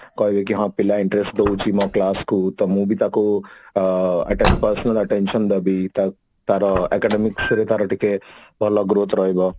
କହିବେ କି ହଁ ପିଲା interest ଦଉଛି ମୋ class କୁ ମୁଁ ବି ତାକୁ ଆ ate personal attention ଦେବି ତ ତାର academics ରେ ତାର ଟିକେ ଭଲ growth ରହିବ